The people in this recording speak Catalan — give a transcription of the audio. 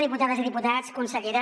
diputades i diputats consellera